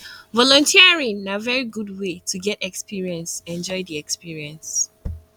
volunteering na very good way to get experience enjoy di experience